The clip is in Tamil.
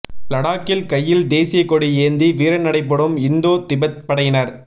லடாக்கில் கையில் தேசிய கொடி ஏந்தி வீரநடைபோடும் இந்தோ திபெத் படையினர்